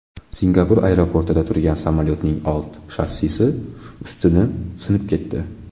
Singapur aeroportida turgan samolyotning old shassisi ustuni sinib ketdi.